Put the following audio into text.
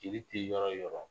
Jeli tɛ yɔrɔ o yɔrɔ